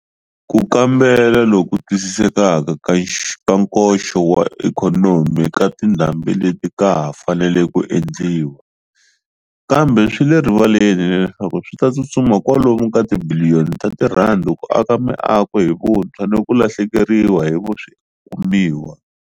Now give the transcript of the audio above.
Ku kambela loku twisisekaka ka nkoxo wa ikhonomi ka tindhambi leti ka ha fanele ku endliwa, kambe swi le rivaleni leswaku swi ta tsutsuma kwalomu ka tibiliyoni ta tirhandi ku aka miako hi vuntshwa ni ku lahlekeriwa hi swikumiwa.